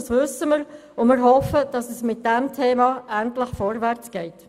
Das wissen wir, und wir hoffen, dass es damit endlich vorwärts geht.